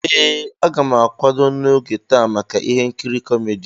Ee, a ga m akwado n'oge taa maka ihe nkiri kómedy